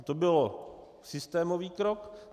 A to byl systémový krok.